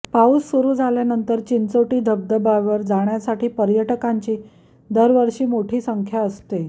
पाऊस सुरू झाल्यानंतर चिंचोटी धबधब्यावर जाण्यासाठी पर्यटकांची दरवर्षी मोठी संख्या असते